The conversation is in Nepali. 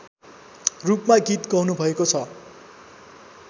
रूपमा गीत गाउनुभएको छ